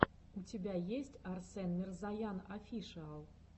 у тебя есть арсен мирзоян офишиал